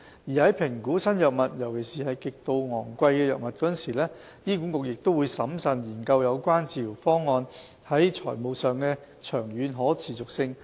而在評估新藥物，尤其是極度昂貴的藥物時，醫管局亦會審慎研究有關治療方案在財務上的長遠可持續性。